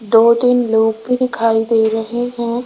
दो तीन लोग भी दिखाई दे रहे हैं।